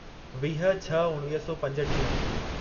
वीह छह उणिवीह सौ पंजटीह